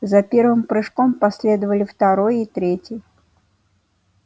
за первым прыжком последовали второй и третий